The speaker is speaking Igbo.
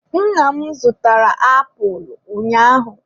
Nna m zụtara apulụ ụnyaahụ.